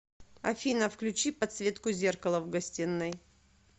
афина включи подсветку зеркала в гостиной